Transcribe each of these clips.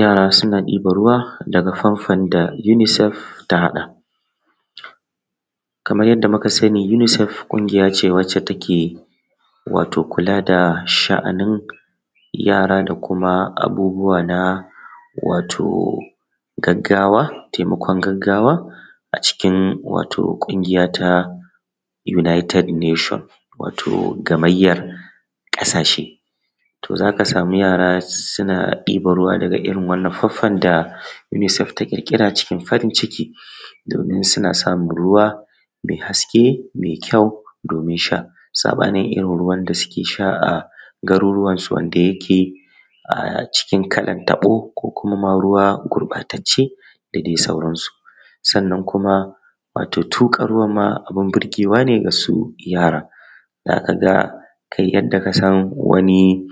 Yara suna ɗibar ruwa daga famfon da unicep ta haƙa. Kamar yadda muka sani Unicep ƙungiya ce da take kula da sha'anin yara da abubuwa wato taimakin gaggawa a cikin ƙungiya ta United Nations. Wato gamayyar ƙasashe, za ka sama yara suna ɗibar ruwa daga irin wannan famfan da Unicept ta ƙirƙira cikin farin ciki domin suna samun ruwa mai haske da ƙyau domin sha. Saɓanini irin ruwan da suke sha a garuruwansu wanda yake a cikin kalar tabo ko kuma ma ruwa gurɓatacce da dai sauransu. Sannan kuma wato tuƙa ruwan abun burgewa ne ga su yaran. Za ka ga kai yanda kasan wani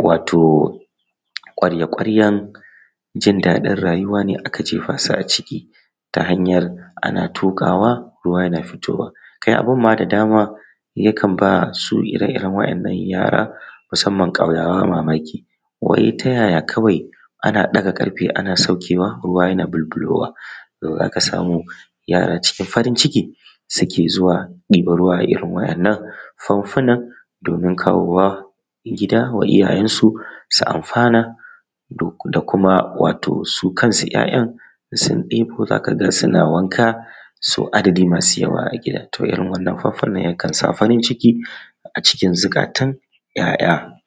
ƙwarya-ƙwaryan jin daɗin rayuwa ne aka jefa su a ciki, ta hanyar ana tuƙawa ruwa na fitowa. Kai abun ma da dama yakan ba su ire-iren waɗannan yara ma musamman ƙauyawa mamaki, ta yaya kawai ana ɗaga ƙarfe ana saukewa yana bulbulowa. Yara cin farin ciki suke zuwa ɗiban ruwa da irin waɗannan famfunan domin kawo wa gida wa iyayensu su amfani da su kansu 'ya'yan idan su ɗibo za ka ga suna wanka sau adadi masu yawa a gida, irin wannan famfunan yakan sa farin ciki a cikin zuƙatan 'ya'ya.